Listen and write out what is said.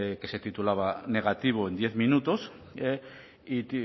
que se titulaba negativo en diez minutos y